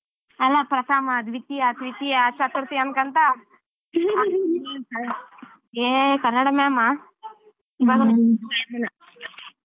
ಅಲ್ಲಾ ಪ್ರಥಮ , ದ್ವಿತೀಯ, ತೃತೀಯಾ, ಚತುರ್ಥಿ, ಅನ್ಕೊಂತ ಹೇ ಕನ್ನಡ madam ಆಹ್ .